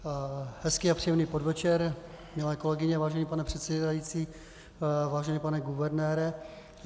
Hezký a příjemný podvečer milé kolegyně, vážený pane předsedající, vážený pane guvernére.